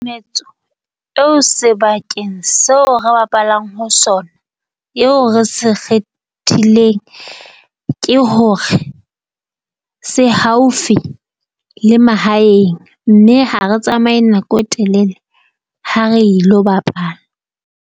Metso eo sebakeng seo re bapalang ho sona eo re se kgethileng, ke hore se haufi le mahaeng mme ha re tsamaye nako e telele ha re ilo bapala.